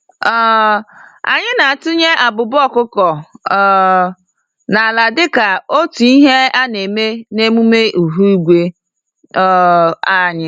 um Anyị na-etunye abụba ọkụkọ um n'ala dịka otú Ihe a-neme n'emume ihu igwe um anyị.